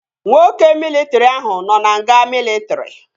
Nwoke mịlịtrị ahụ nọ na nga mịlịtrị